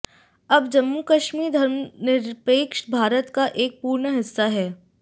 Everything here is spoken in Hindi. अब जम्मू कश्मीर धर्मनिरपेक्ष भारत का एक पूर्ण हिस्सा है